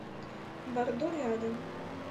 бордо рядом